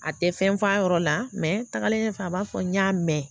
A tɛ fɛn f'a yɔrɔ la mɛ tagalen ɲɛfɛ a b'a fɔ n y'a mɛn